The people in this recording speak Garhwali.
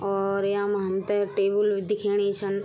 और यामा हमथे टेबल भी दिखेणी छन।